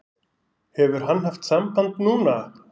Hefur hann haft samband núna?